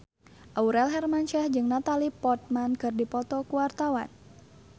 Aurel Hermansyah jeung Natalie Portman keur dipoto ku wartawan